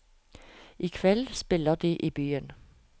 I kveld spiller de i byen.